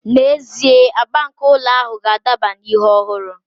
N'ezie, agba nke ụlọ ahụ ga-adaba na ihe ọhụrụ